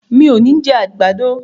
Mi ò ní jẹ àgbàdo.